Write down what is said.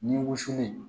Ni wusulen